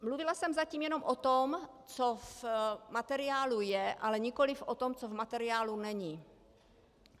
Mluvila jsem zatím jenom o tom, co v materiálu je, ale nikoliv o tom, co v materiálu není.